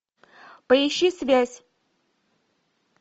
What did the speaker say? поищи связь